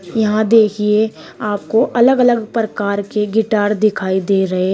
यहां देखिए आपको अलग अलग प्रकार की गिटार दिखाई दे रहे--